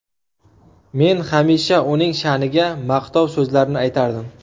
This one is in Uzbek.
Men hamisha uning sha’niga maqtov so‘zlarni aytardim.